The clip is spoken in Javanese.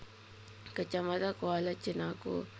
Kecamatan Kuala Cenaku